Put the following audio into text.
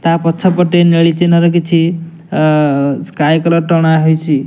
ତା ପଛ ପଟେ ନେଳି ଚିହ୍ନ ର କିଛି ଅ ସ୍କାଏ କଲର ଟଣା ହେଇଚି।